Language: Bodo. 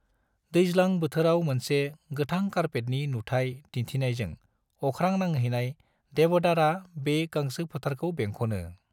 दैज्लां बोथोराव मोनसे गोथां कारपेटनि नुथाय दिन्थिनायजों अख्रां नांहैनाय देवदारा बे गांसो फोथारखौ बेंख'नो।